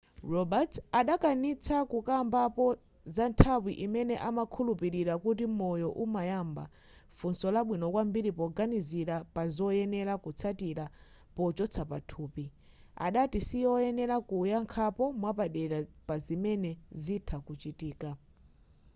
roberts adakanitsitsa kukambapo za nthawi imene amakhulupirira kuti moyo umayamba funso labwino kwambiri poganizira pazoyenera kutsatira pochotsa pathupi adati sikoyenera kuyankhapo mwapadera pazimene zitha kuchitika